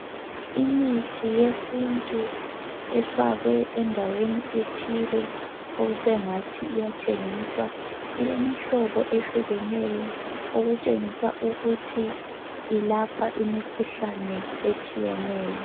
Imithi yesintu ifakwe endaweni ethile okusengathi iyathengiswa ilemihlobo ehlukeneyo okutshengisa ukuthi ilapha imikhuhlane etshiyeneyo.